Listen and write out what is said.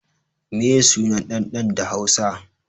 Meye suna ɗan ɗan ɗa hausa